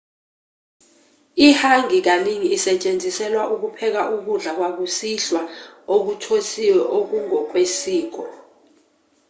i-hangi kaningi isetshenziselwa ukupheka ukudla kwakusihla okuthosiwe okungokwesiko